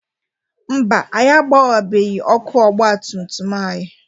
Mba, anyị agbenwebeghi ọkụ ọgbatumtum anyị.